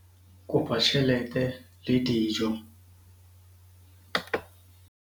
kopa tjhelete le dijo